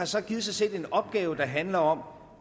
så sig selv en opgave der handler om